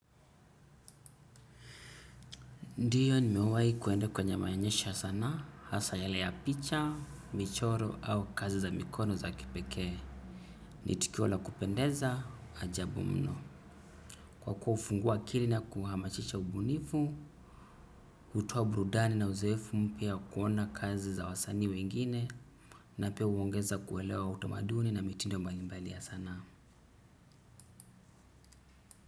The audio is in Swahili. Ndio nimewahi kuenda kwenye maonyesho ya sanaa hasa yale ya picha michoro au kazi za mikono za kipekee. Ni tukio la kupendeza ajabu mno. Kwa kuwa hufungua akili na kuhamasisha ubunifu, hutoa burudani na uzoefu mpya ya kuona kazi za wasani wengine, na pia huongeza kuelewa utamaduni na mitindo mbalimbali ya sanaa.